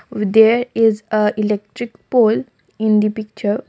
there is a electric pole in the picture.